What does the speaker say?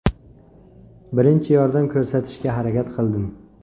Birinchi yordam ko‘rsatishga harakat qildim.